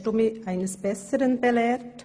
Nun hast du mich eines Besseren belehrt.